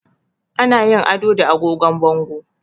Ana yin ado da agogon bango